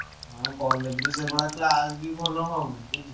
ଆଉ college ରେ ସେଇଭଳିଆ class ବି ଭଲ ହଉନି ବୁଝିଲୁ?